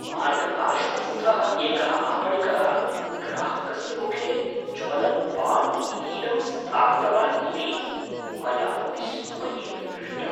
मार्गपार्श्वस्थः एकः आपणिकः ग्राहकस्य मुखे ज्वलत् पान् इतीदं स्थापितवान् इति मया विस्मयेन दृष्टम्।